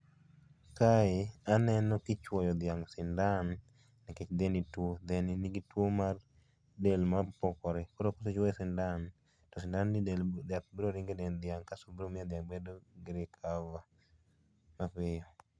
Kae, aneno kichuoyo dhiang' sindan nikech dheni nigi tuo mar del mapokore. Koro kichuoye sindan to sindan ni yath biro ringo e dend dhiang' kasto biro miyo dhiang' recover mapiyo